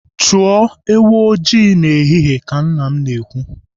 Chụọ ewu ọjị n'ehihie ka nna m na-ekwu.